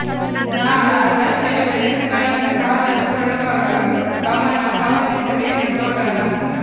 ನ ಅಗತ್ಯ ವ್ಯತ್ಯಾಸಗಳನ್ನು ಸಾಧನ ಕೊಳ್ಳುವಾಗ ಗಮನ ಪಾವತಿಸಲು ಏನು ನೋಡೋಣ